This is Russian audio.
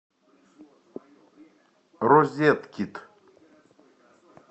розеткед